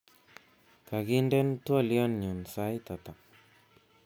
Kakindena twoliotnyu sait ata